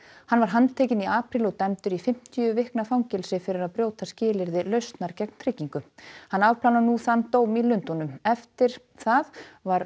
hann var handtekinn í apríl og dæmdur í fimmtíu vikna fangelsi fyrir að brjóta skilyrði lausnar gegn tryggingu hann afplánar nú þann dóm í Lundúnum eftir það var